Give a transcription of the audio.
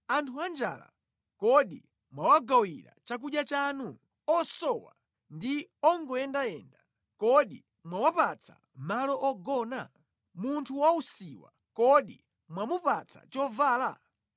Anthu anjala kodi mwawagawira chakudya chanu? Osowa ndi ongoyendayenda, kodi mwawapatsa malo ogona? Munthu wausiwa kodi mwamupatsa chovala?